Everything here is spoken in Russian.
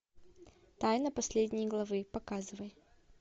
тайна последней главы показывай